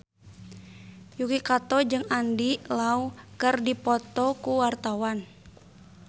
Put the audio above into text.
Yuki Kato jeung Andy Lau keur dipoto ku wartawan